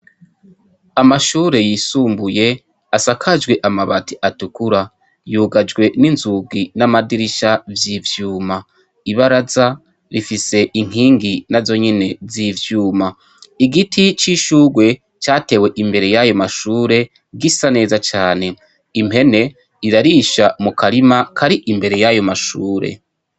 Amashure yisumbuye, asakajwe amabati atukura, yugajwe n'inzugi n'amadirisha vy'ivyuma. Ibaraza bifise inkingi nazo nyene y'ivyuma. Igiti c'ishurwe catewe imbere y'ayo mashure gisa neza cane. Impene irarisha mu karima kari imbere y'ayo mashure.